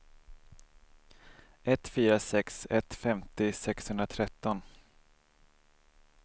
ett fyra sex ett femtio sexhundratretton